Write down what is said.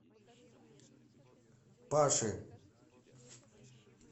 паши